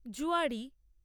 যুয়াড়ি